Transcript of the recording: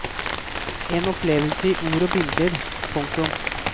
En opplevelse i ord og bilder. punktum